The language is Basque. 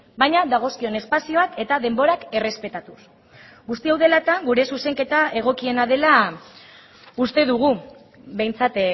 baina dagozkion espazioak eta denborak errespetatuz guzti hau dela eta gure zuzenketa egokiena dela uste dugu behintzat